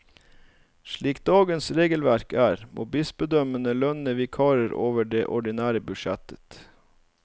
Slik dagens regelverk er, må bispedømmene lønne vikarer over det ordinære budsjettet.